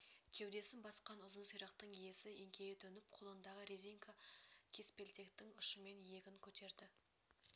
кеудесін басқан ұзын сирақтың иесі еңкейе төніп қолындағы резинка кеспелтектің ұшымен иегін көтерді